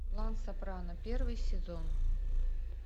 клан сопрано первый сезон